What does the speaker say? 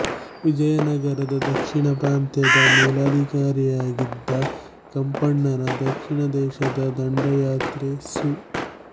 ವಿಜಯನಗರದ ದಕ್ಷಿಣ ಪ್ರಾಂತ್ಯದ ಮೇಲಾಧಿಕಾರಿಯಾಗಿದ್ದ ಕಂಪಣ್ಣನ ದಕ್ಷಿಣ ದೇಶದ ದಂಡಯಾತ್ರೆ ಸು